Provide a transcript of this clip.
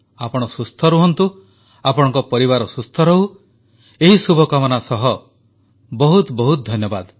ଆପଣ ସୁସ୍ଥ ରୁହନ୍ତୁ ଆପଣଙ୍କ ପରିବାର ସୁସ୍ଥ ରହୁ ଏହି ଶୁଭକାମନା ସହ ବହୁତ ବହୁତ ଧନ୍ୟବାଦ